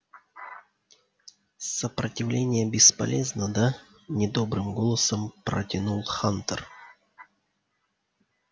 сопротивление бесполезно да недобрым голосом протянул хантер